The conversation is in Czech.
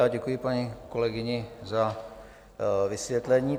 A děkuji paní kolegyni za vysvětlení.